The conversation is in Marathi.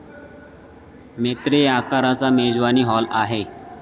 मेत्रे आकाराचा मेजवानी हॉल आहे.